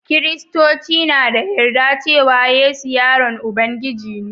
kiristoci na da yarda cewa yesu yaron Ubangiji ne